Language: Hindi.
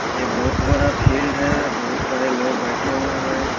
ये बहुत बड़ा फील्ड है बहुत सारे लोग बैठे हुए है।